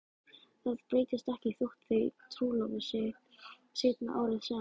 Það breytist ekki þótt þau trúlofi sig seinna árið sem